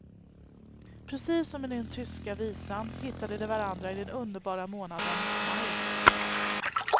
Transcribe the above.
Precis som i den tyska visan, hittade de varandra i den underbara månaden maj.